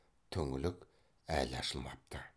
түңлік әлі ашылмапты